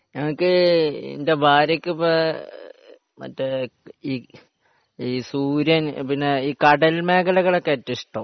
എനക്ക് എന്റെ ഭാര്യക്കിപ്പോ മറ്റേ ഈ സൂര്യൻ ഈ കടൽ മേഖലകളൊക്കെ ഇപ്പൊ ഏറ്റവും ഇഷ്ടം